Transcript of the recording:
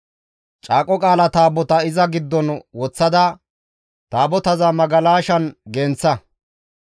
Caaqo Qaala Taabotaa iza giddon woththada Taabotaza magalashan genththa.